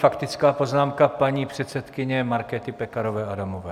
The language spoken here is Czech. Faktická poznámka paní předsedkyně Markéty Pekarové Adamové.